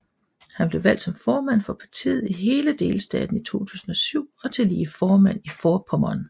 Han blev valgt som formand for partiet i hele delstaten i 2007 og tillige formand i Vorpommern